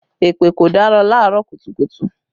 Èpè kò dára laarọ kùtùkùtù